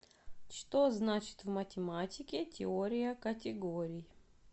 что значит в математике теория категорий